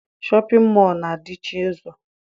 Shọpịn mọọ na- adịchi ụzọ.